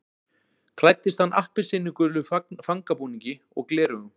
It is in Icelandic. Klæddist hann appelsínugulum fangabúningi og gleraugum